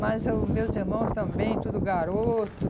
Mas os meus irmãos também, tudo garoto.